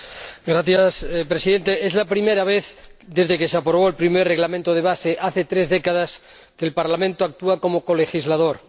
Señor Presidente, es la primera vez, desde que se aprobó el primer Reglamento de base, hace tres décadas, que el Parlamento actúa como colegislador.